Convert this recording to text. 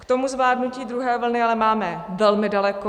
K tomu zvládnutí druhé vlny ale máme velmi daleko.